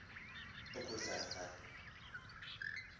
le nto ifana